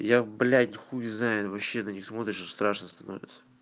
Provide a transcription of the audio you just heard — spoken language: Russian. я блять хуй знаю вообще на них смотришь и страшно становится